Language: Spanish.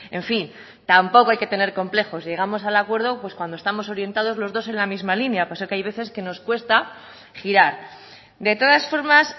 en fin tampoco hay que tener complejos llegamos al acuerdo cuando estamos orientados los dos en la misma línea pero hay veces que nos cuesta girar de todas formas